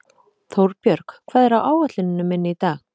Þórbjörg, hvað er á áætluninni minni í dag?